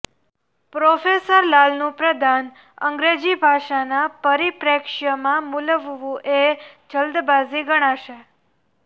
professor લાલનું પ્રદાન અંગ્રેજી ભાષાના પરિપ્રેક્ષ્યમાં મૂલવવું એ જલ્દબાજી ગણાશે